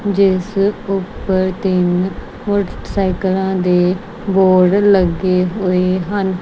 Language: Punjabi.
ਜਿਸ ਉੱਪਰ ਤਿੰਨ ਮੋਟਰਸਾਈਕਲਾਂ ਦੇ ਬੋਰਡ ਲੱਗੇ ਹੋਏ ਹਨ।